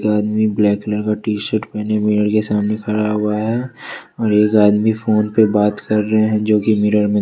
एक आदमी black colour का टी शर्ट पहने मिरर के सामने खड़ा हुआ है और एक आदमी फोन पे बात कर रहे हैं जो कि मिरर में --